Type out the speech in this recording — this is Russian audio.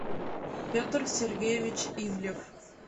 петр сергеевич ивлев